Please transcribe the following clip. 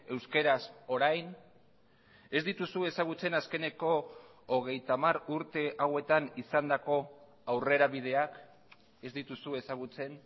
euskaraz orain ez dituzu ezagutzen azkeneko hogeita hamar urte hauetan izandako aurrerabideak ez dituzu ezagutzen